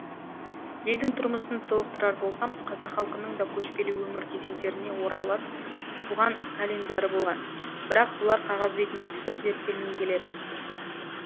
елдің тұрмысын толықтырар болсам қазақ халқының да көшпелі өмір кезеңдеріне орайлас туған календары болған бірақ бұлар қағаз бетіне түсіп зерттелмей келеді